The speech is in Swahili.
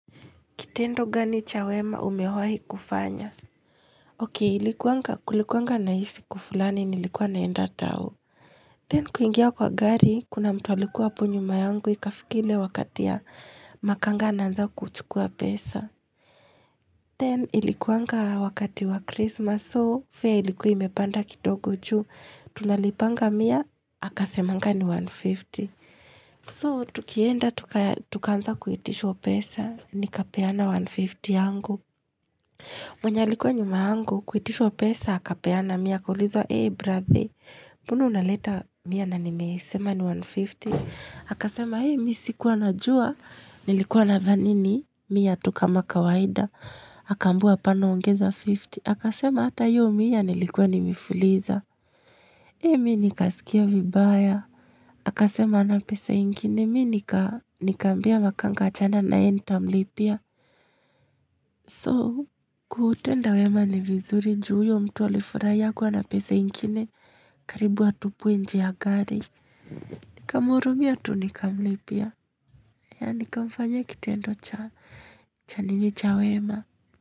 Kitendo gani cha wema umewahi kufanya. Ok, ilikuanga kulikuanga na hii siku fulani nilikuwa naenda tao. Then kuingia kwa gari, kuna mtu alikuwa hapo nyuma yangu ikafika ile wakati ya makanga anaanza kuchukua pesa. Then ilikuanga wakati wa Christmas, so fare ilikuwa imepanda kidogo juu. Tunalipanga mia, akasemanga ni 150. So, tukienda tukaanza kuitishwa pesa, nikapeana 150 yangu. Mwenye alikuwa nyuma yangu, kuitishwa pesa, akapeana, mia. Akaulizwa, hey brother, mbona unaleta, mia na nimesema ni 150, akasema, hey, mi sikuwa najua, nilikuwa nadhani ni, mia tu kama kawaida, akaambiwa hapana ongeza 50, akasema, hata hiyo mia nilikuwa nimefuliza, hey, mi nikasikia vibaya, akasema hana pesa ingine, mi nikamwambia makanga achana na yeye Nitamlipia. So, kutenda wema ni vizuri juu huyo mtu alikufurahi hakuwa na pesa ingine karibu atupwe nje ya gari. Nikamhurumia tu nikamlipia. Ya nikamfanya kitendo cha nini cha wema.